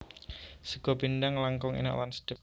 Sega pindhang langkung enak lan sedep